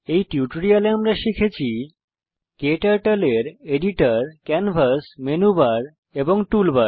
এই টিউটোরিয়ালে আমরা শিখেছি ক্টার্টল এর এডিটর ক্যানভাস মেনুবার এবং টুলবার